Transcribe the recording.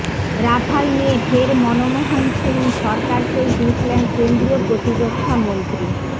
Rafale নিয়ে ফের মনমোহন সিং সরকারকেই দুষলেন কেন্দ্রীয় প্রতিরক্ষামন্ত্রী